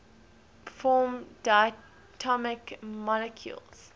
form diatomic molecules